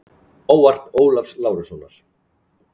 Ávarp Ólafs Lárussonar.